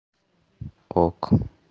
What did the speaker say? ок